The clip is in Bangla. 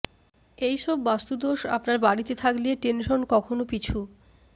এই সব বাস্তুদোষ আপনার বাড়িতে থাকলে টেনশন কখনও পিছু